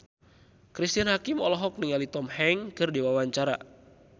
Cristine Hakim olohok ningali Tom Hanks keur diwawancara